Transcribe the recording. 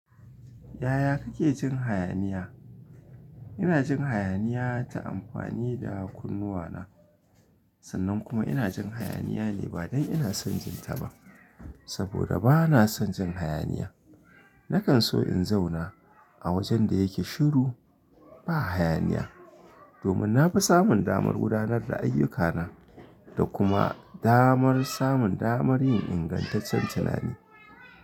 Yaya kake jin hayaniya? Ina jin hayaniya ta amfani da kunnuwana sannan kuma ina jin hayaniya ne ba don ina son jin ta ba saboda bana son jin hayaniya. Nakan so in zauna a wajen da yake shiru ba hayaniya domin na fi samun damar gudanar da ayyukana da kuma damar samun damar yin ingantaccen tunani.